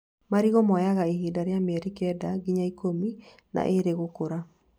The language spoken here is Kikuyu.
Marigũ moyaga ihinda rĩa mĩeri kenda nginya ikũmi na ĩĩrĩ gũkũra